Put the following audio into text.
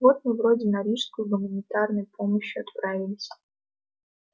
вот мы вроде на рижскую с гуманитарной помощью отправились